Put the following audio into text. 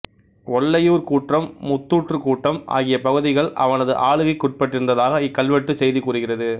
ஒல்லையூர் கூற்றம் முத்தூற்றுக் கூற்றம் ஆகிய பகுதிகள் அவனது ஆளுகைக்குட்பட்டிருந்ததாக இக்கல்வெட்டுச் செய்தி கூறுகிறது